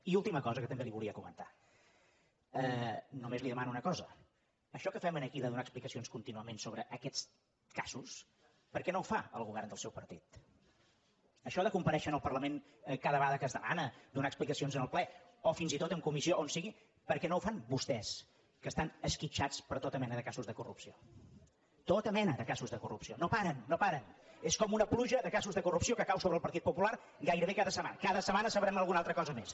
i una última cosa que també li volia comentar només li demano una cosa això que fem aquí de donar explica·cions contínuament sobre aquests casos per què no ho fa el govern del seu partit això de comparèixer en el parlament cada vegada que es demana donar explica·cions en el ple o fins i tot en comissió o on sigui per què no ho fan vostès que estan esquitxats per tota me·na de casos de corrupció tota mena de casos de cor·rupció no paren no paren és com una pluja de ca·sos de corrupció que cau sobre el partit popular gairebé cada setmana cada setmana en sabrem alguna altra co·sa més